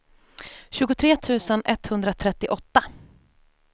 tjugotre tusen etthundratrettioåtta